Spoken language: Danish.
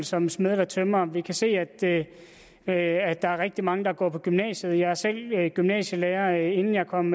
som smed eller tømrer vi kan se at der er rigtig mange der går på gymnasiet jeg var selv gymnasielærer inden jeg kom